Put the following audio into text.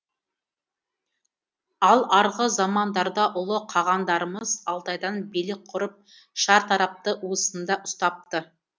ал арғы замандарда ұлы қағандарымыз алтайдан билік құрып шартарапты уысында ұстапты